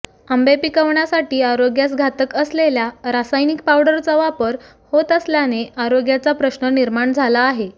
आंबे पिकवण्यासाठी आरोग्यास घातक असलेल्या रासायनिक पाव़डरचा वापर होत असल्याने आरोग्याचा प्रश्न निर्माण झाला आहे